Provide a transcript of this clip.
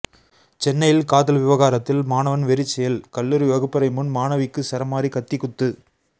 சென்னையில் காதல் விவகாரத்தில் மாணவன் வெறிச்செயல் கல்லூரி வகுப்பறை முன் மாணவிக்கு சரமாரி கத்திக்குத்து